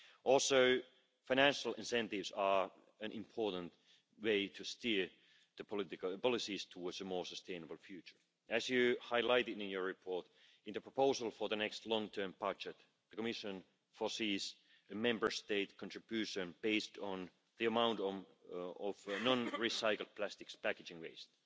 Also, financial incentives are an important way to steer the policies towards a more sustainable future. As you highlighted in your report, in the proposal for the next long term budget, the Commission foresees a Member State contribution based on the amount of non recycled plastics packaging waste.